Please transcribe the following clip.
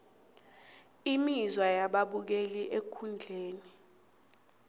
imizwa yababukeli ekundleni